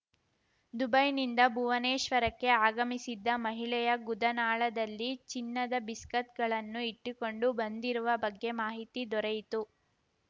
ದುಬೈನಿಂದ ಭುವನೇಶ್ವರಕ್ಕೆ ಆಗಮಿಸಿದ್ದ ಮಹಿಳೆಯ ಗುದನಾಳದಲ್ಲಿ ಚಿನ್ನದ ಬಿಸ್ಕತ್‌ಗಳನ್ನು ಇಟ್ಟುಕೊಂಡು ಬಂದಿರುವ ಬಗ್ಗೆ ಮಾಹಿತಿ ದೊರೆಯಿತು